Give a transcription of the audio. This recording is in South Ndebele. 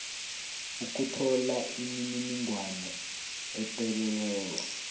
ukuthola imininingwana epheleleko